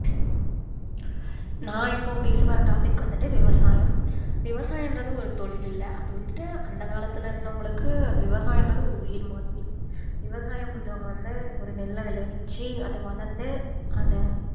நான் இப்போ பேச போர topic வந்துட்டு விவசாயம் விவசாயம்ன்றது ஒரு தொழில் இல்ல அது வந்துட்டு அந்த காலத்தில இருந்தவங்களுக்கு விவசாயம்ன்றது ஒரு உயிர் மாதிரி விவசாயம் பண்றவங்க வந்து ஒரு நெல்ல விளைவிச்சி அது வளர்ந்து அத